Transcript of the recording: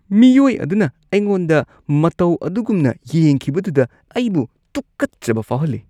ꯃꯤꯑꯣꯏ ꯑꯗꯨꯅ ꯑꯩꯉꯣꯟꯗ ꯃꯇꯧ ꯑꯗꯨꯒꯨꯝꯅ ꯌꯦꯡꯈꯤꯕꯗꯨꯗ ꯑꯩꯕꯨ ꯇꯨꯀꯠꯆꯕ ꯐꯥꯎꯍꯜꯂꯤ꯫